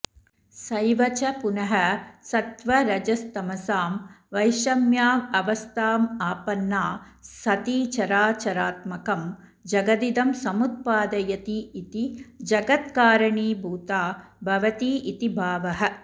सैव च पुनः सत्त्व रजस्तमसां वैषम्यावस्थामापन्ना सती चराचरात्मकं जगदिदं समुत्पादयतीति जगत्कारणीभूता भवतीति भावः